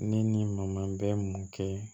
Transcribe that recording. Ne ni n ma bɛ mun kɛ